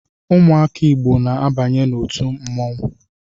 Ụmụaka Igbo na-abanye n’otu mmonwu